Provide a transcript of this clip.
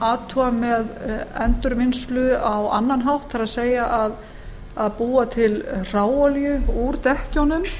athuga með endurvinnslu á annan hátt það er að búa til hráolíu úr dekkjunum